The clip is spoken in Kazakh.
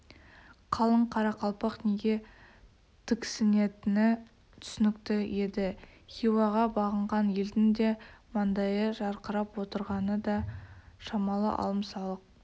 қалың қарақалпақ неге тіксінетіні түсінікті еді хиуаға бағынған елдің де маңдайы жарқырап отырғаны да шамалы алым-салық